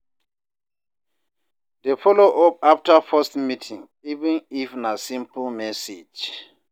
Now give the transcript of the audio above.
Dey follow up after first meeting, even if na simple message